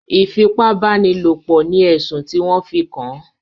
ìfipábánilòpọ̀ ni ẹ̀sùn tí wọ́n fi kàn án.